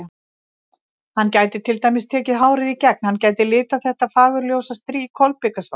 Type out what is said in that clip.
Hann gæti til dæmis tekið hárið í gegn, hann gæti litað þetta fagurljósa strý kolbikasvart.